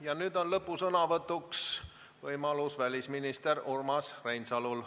Ja nüüd on lõpusõnavõtuks võimalus välisminister Urmas Reinsalul.